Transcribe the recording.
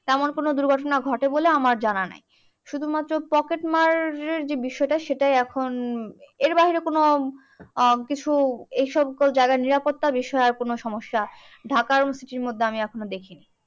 তেমন কোন দুর্ঘটনা ঘটে বলে আমার জানা নেই। শুধুমাত্র পকেটমার যে বিষয়টা সেটাই এখন এর বাহিরে কোন কিছু এইসবতো যারা নিরাপত্তার বিষয় আর কোনো সমস্যা ঢাকার মধ্যে আমি এখনো দেখিনি।